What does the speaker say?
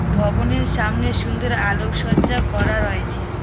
ভবনের সামনে সুন্দর আলোকসজ্জা করা রয়েছে।